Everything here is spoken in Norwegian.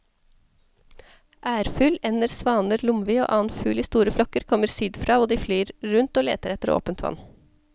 Ærfugl, ender, svaner, lomvi og annen fugl i store flokker kommer sydfra og de flyr rundt og leter etter åpent vann.